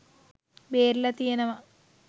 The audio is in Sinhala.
බේරිලා තියෙනවා.